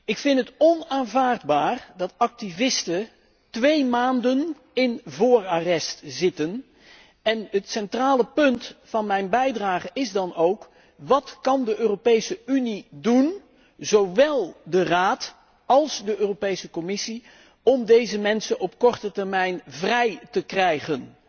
Ik vind het onaanvaardbaar dat activisten twee maanden in voorarrest zitten en het centrale punt van mijn bijdrage is dan ook wat kan de Europese Unie doen, zowel de Raad als de Europese Commissie, om deze mensen op korte termijn vrij te krijgen?